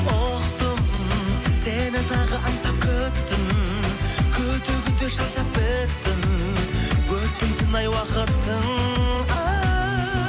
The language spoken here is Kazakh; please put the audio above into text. ұқтым сені тағы аңсап күттім күте күте шаршап біттім өтпейтіні ай уақыттың а